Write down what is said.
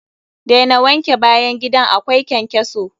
Daina wanke bayan gidan akwai ƙenƙeso!